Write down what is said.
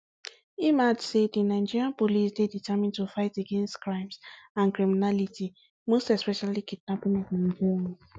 im add say di nigeria police dey determined to fight against crimes and criminality most especially kidnapping of nigerians